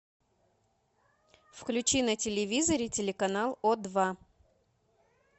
включи на телевизоре телеканал о два